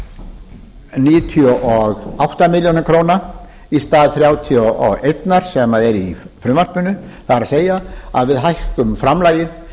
þar níutíu og átta milljónir króna í stað þrjátíu og eitt sem er í frumvarpinu það er að við hækkum framlagið